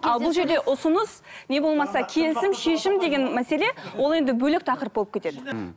ал бұл жерде ұсыныс не болмаса келісім шешім деген мәселе ол енді бөлек тақырып болып кетеді мхм